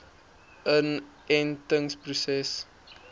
inentingproses